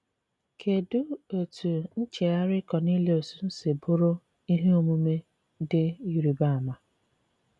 Kedụ etú ncheghari Kọniliọs si bụrụ ihe omume dị ịrịba ama?